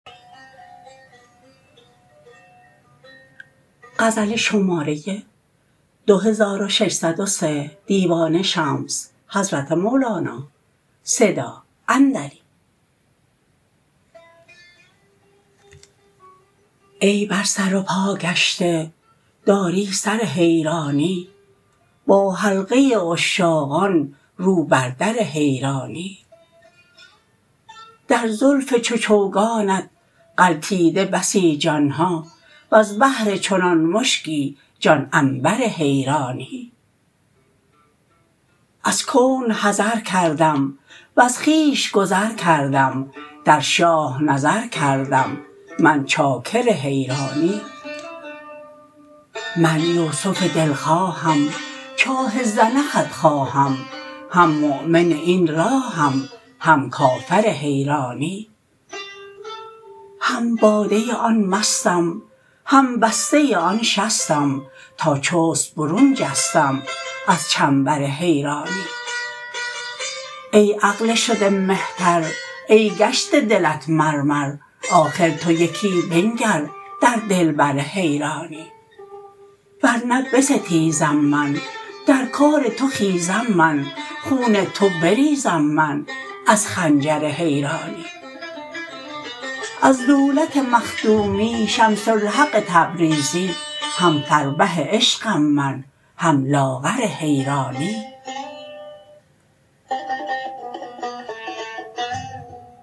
ای بر سر و پا گشته داری سر حیرانی با حلقه عشاقان رو بر در حیرانی در زلف چو چوگانت غلطیده بسی جان ها وز بهر چنان مشکی جان عنبر حیرانی از کون حذر کردم وز خویش گذر کردم در شاه نظر کردم من چاکر حیرانی من یوسف دلخواهم چاه زنخت خواهم هم مؤمن این راهم هم کافر حیرانی هم باده آن مستم هم بسته آن شستم تا چست برون جستم از چنبر حیرانی ای عقل شده مهتر ای گشته دلت مرمر آخر تو یکی بنگر در دلبر حیرانی ور نه بستیزم من در کار تو خیزم من خون تو بریزم من از خنجر حیرانی از دولت مخدومی شمس الحق تبریزی هم فربه عشقم من هم لاغر حیرانی